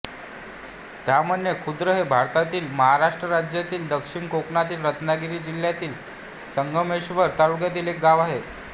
ताम्हाणे खुर्द हे भारतातील महाराष्ट्र राज्यातील दक्षिण कोकणातील रत्नागिरी जिल्ह्यातील संगमेश्वर तालुक्यातील एक गाव आहे